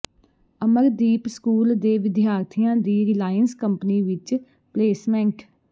Amardeep school ਦੇ ਵਿਦਿਆਰਥੀਆਂ ਦੀ ਰਿਲਾਇੰਸ ਕੰਪਨੀ ਵਿਚ ਪਲੇਸਮੈਂਟ